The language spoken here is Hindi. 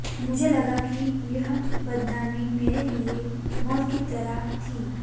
मुझे लगा कि यह बदनामी मेरे लिए मौत की तरह थी